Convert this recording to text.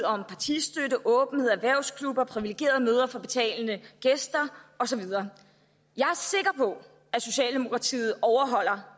om partistøtte åbenhed erhvervsklubber privilegerede møder for betalende gæster og så videre jeg er sikker på at socialdemokratiet overholder